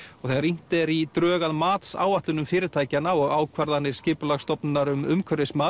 þegar rýnt er í drög að matsáætlunum fyrirtækjanna og ákvarðanir Skipulagsstofnunar um umhverfismat